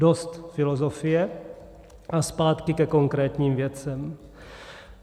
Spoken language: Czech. Dost filozofie a zpátky ke konkrétním věcem.